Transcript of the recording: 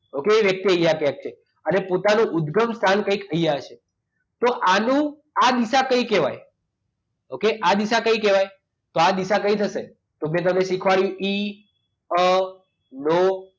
okay એ વ્યક્તિ અહીંયા ક્યાંક છે અને પોતાના ઉદગમ સ્થાન કઈક અહીંયા છે તો આનું આ દિશા કઈ કહેવાય okay આ દિશા કઈ કહેવાય તો આ દિશા કઈ થશે તો મેં તમને શીખવાડ્યું એ ઇ અ નો